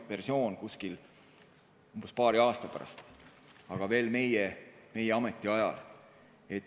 Seda tehakse umbes paari aasta pärast, veel meie ametiajal.